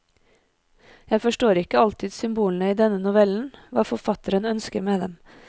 Jeg forstår ikke alltid symbolene i denne novellen, hva forfatteren ønsker med dem.